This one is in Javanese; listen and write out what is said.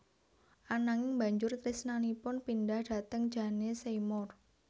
Ananging banjur tresnanipun pindah dhateng Jane Seymour